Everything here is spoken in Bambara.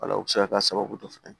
Wala o bɛ se ka kɛ sababu dɔ fana ye